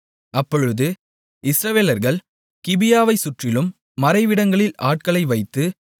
அப்பொழுது இஸ்ரவேலர்கள் கிபியாவைச்சுற்றிலும் மறைவிடங்களில் ஆட்களை வைத்து